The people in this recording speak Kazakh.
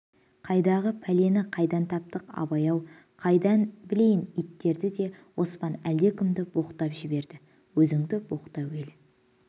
қайдағы пәлені қайдан таптың абай-ау қайдан білейін иттерді деп оспан әлдекімді боқтап жіберді өзінді боқта әуелі